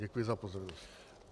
Děkuju za pozornost.